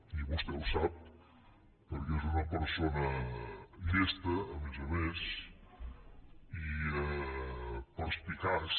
i vostè ho sap perquè és una persona llesta a més a més i perspicaç